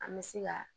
An bɛ se ka